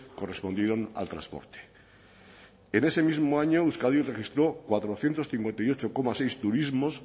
correspondieron al transporte en ese mismo año euskadi registró cuatrocientos cincuenta y ocho coma seis turismos